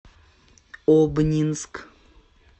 обнинск